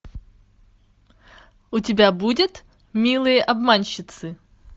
у тебя будет милые обманщицы